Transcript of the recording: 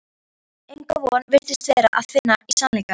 Enga von virtist vera að finna í sannleikanum.